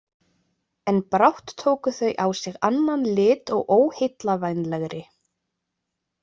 En brátt tóku þau á sig annan lit og óheillavænlegri.